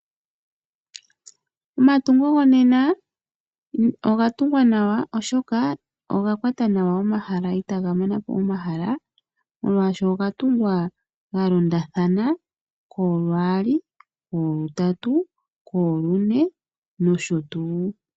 Omatungo gonena oga tungwa nawa oshoka oga kwata nawa ehala itaga manapo omahala molwaashoka oga tungwa galondathana koolwaali, koolutatu, koolune nosho tuu.